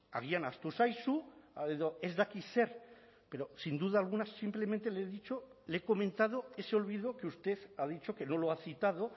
agian ahaztu zaizu edo ez dakit zer pero sin duda alguna simplemente le he dicho le he comentado ese olvido que usted ha dicho que no lo ha citado